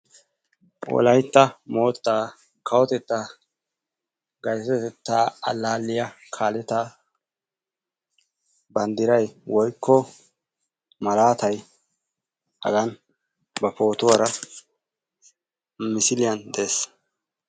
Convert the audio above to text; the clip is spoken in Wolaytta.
wolaytta mootaa kawotettaa gayttotettaa alaalliya kaalotaa bandiray woyikko malaatay hagan ba pootuwara misilliyan dees,